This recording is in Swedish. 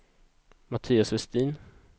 Mattias Westin